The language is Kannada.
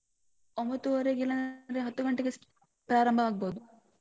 ಒಂಬತ್ತುವರೆಗಿಲ್ಲಾಂದ್ರೆ ಹತ್ತು ಗಂಟೆಗೆ start ಪ್ರಾರಂಭ ಆಗ್ಬೋದು.